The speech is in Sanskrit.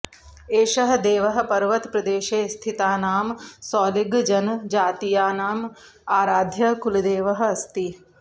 एषः देवः पर्वतप्रदेशे स्थितानां सोलिगजनजातीयानाम् आराध्यः कुलदेवः अस्ति